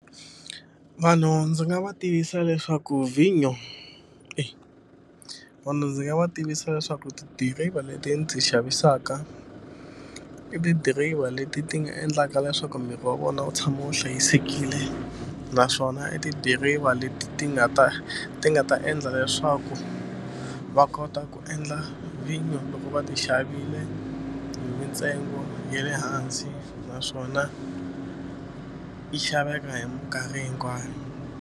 Vanhu ndzi nga va tivisa leswaku vhinyo vanhu ndzi nga va tivisa leswaku tidiriva leti ndzi xavisaka i tidiriva leti ti nga endlaka leswaku miri wa vona wu tshama wu hlayisekile naswona i tidiriva leti ti nga ta ti nga ta endla leswaku va kota ku endla vhinyo loko va ti xavile hi mintsengo ya le hansi naswona yi xaveka hi mikarhi hinkwayo.